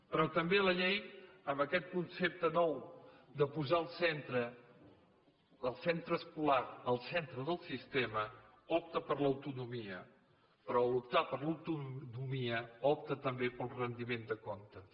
però també la llei amb aquest concepte nou de posar el centre escolar al centre del sistema opta per l’autonomia però en optar per l’autonomia opta també pel rendiment de comptes